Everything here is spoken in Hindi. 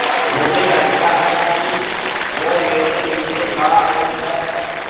मुझे लगता है कि वो मेरे लिये गा रहीं हैँ